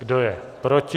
Kdo je proti?